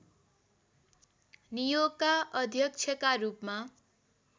नियोगका अध्यक्षका रूपमा